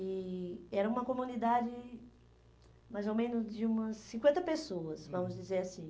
E era uma comunidade mais ou menos de umas cinquenta pessoas, hum, vamos dizer assim.